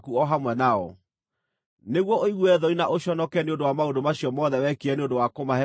nĩguo ũigue thoni na ũconoke nĩ ũndũ wa maũndũ macio mothe wekire nĩ ũndũ wa kũmahe ũhurũko.